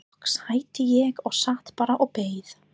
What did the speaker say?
Loks hætti ég og sat bara og beið.